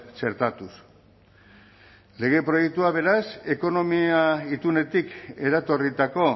txertatuz lege proiektuak beraz ekonomia itunetik eratorritako